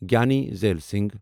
Giani Zail Singh